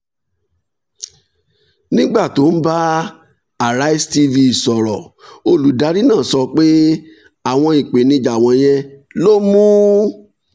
nígbà tó ń bá arise tv sọ̀rọ̀ olùdarí náà sọ pé àwọn ìpèníjà wọ̀nyẹn ló mú